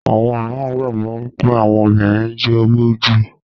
àwọn míràn gbagbọ wipe Àwọn obìrin jowú jù.